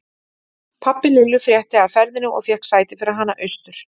Pabbi Lillu frétti af ferðinni og fékk sæti fyrir hana austur.